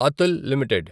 Atul limited